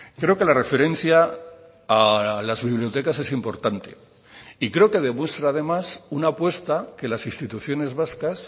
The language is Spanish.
creo que la referencia a las bibliotecas es importante y creo que demuestra además una apuesta que las instituciones vascas